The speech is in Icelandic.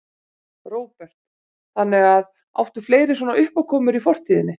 Róbert: Þannig að, áttu fleiri svona uppákomur í fortíðinni?